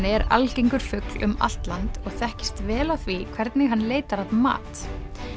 er algengur fugl um allt land og þekkist vel á því hvernig hann leitar að mat